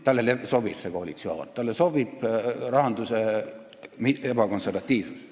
Talle sobib see koalitsioon, talle sobib rahanduse ebakonservatiivsus.